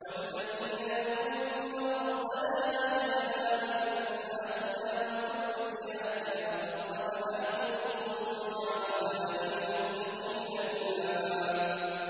وَالَّذِينَ يَقُولُونَ رَبَّنَا هَبْ لَنَا مِنْ أَزْوَاجِنَا وَذُرِّيَّاتِنَا قُرَّةَ أَعْيُنٍ وَاجْعَلْنَا لِلْمُتَّقِينَ إِمَامًا